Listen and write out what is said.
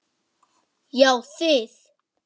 Já þið!